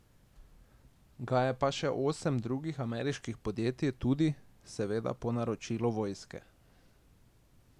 Ga je pa še osem drugih ameriških podjetij tudi, seveda po naročilu vojske.